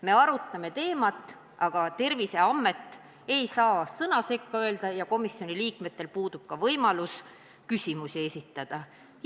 Me arutame teemat, aga Terviseamet ei saa sõna sekka öelda ja komisjoni liikmetel puudub ka võimalus küsimusi esitada.